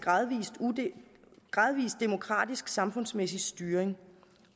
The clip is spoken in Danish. demokratisk samfundsmæssig styring